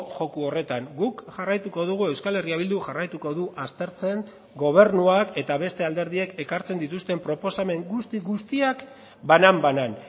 joko horretan guk jarraituko dugu euskal herria bilduk jarraituko du aztertzen gobernuak eta beste alderdiek ekartzen dituzten proposamen guzti guztiak banan banan